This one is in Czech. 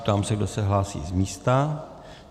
Ptám se, kdo se hlásí z místa.